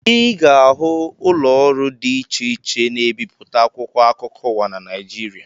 Ị ga-ahụ ụlọọrụ dị iche iche na-ebipụta akwụkwọ akụkọ ụwa na Naịjirịa